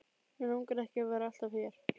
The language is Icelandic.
Mig langar ekki að vera alltaf hér.